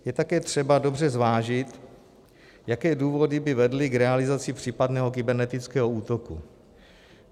Je také třeba dobře zvážit, jaké důvody by vedly k realizaci případného kybernetického útoku.